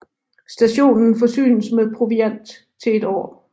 Stationen forsynes med proviant til et år